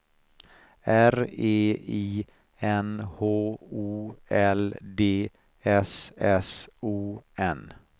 R E I N H O L D S S O N